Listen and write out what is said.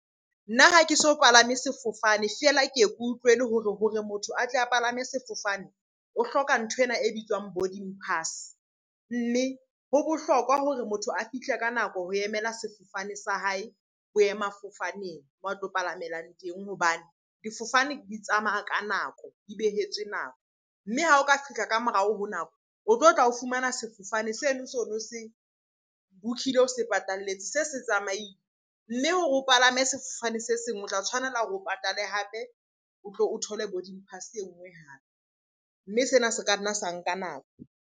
Nna ha ke so palame sefofane, feela ke ye ke utlwele hore ho re motho a tle a palame sefofane o hloka nthwena e bitswang boarding pass. Mme ho bohlokwa hore motho a fihle ka nako ho emela sefofane sa hae boemafofaneng moo a tlo palamelang teng. Hobane difofane di tsamaya ka nako, di behetswe nako. Mme ha o ka fihla ka morao ho nako, o tlotla o fumana sefofane seno so no se book-ile, o se patalletse se se tsamaile. Mme hore o palame sefofane se seng o tla tshwanela hore o patale hape, o tlo o thole boarding pass enngwe hape. Mme sena se ka nna sa nka nako.